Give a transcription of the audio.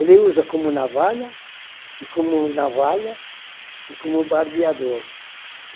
Ele usa como navalha, e como navalha, e como barbeador.